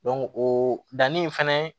o danni fɛnɛ